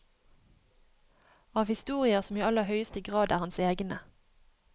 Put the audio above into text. Av historier som i aller høyeste grad er hans egne.